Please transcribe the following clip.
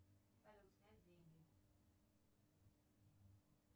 салют снять деньги